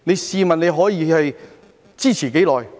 試問你可以支持多久？